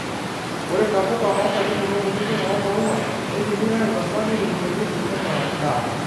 Ore ntapuka onkaitubulu kutiti omaua neidimi ainosa neitokitokieki enaa endaa.